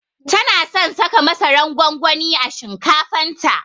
Tana son saka masaran gwangwani a shinkafan ta